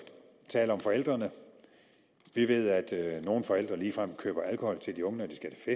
tale om forældrene vi ved at nogle forældre ligefrem køber alkohol til de unge